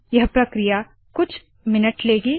यह प्रक्रिया कुछ मिनट लेगी